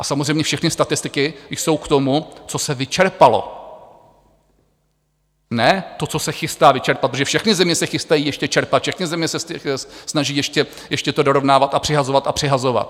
A samozřejmě všechny statistiky jsou k tomu, co se vyčerpalo, ne to, co se chystá vyčerpat, protože všechny země se chystají ještě čerpat, všechny země se snaží ještě to dorovnávat a přihazovat a přihazovat.